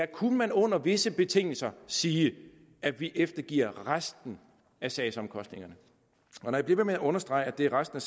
kunne man under visse betingelser sige at vi eftergiver resten af sagsomkostningerne når jeg bliver ved med at understrege at det er resten